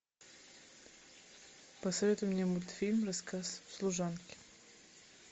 посоветуй мне мультфильм рассказ служанки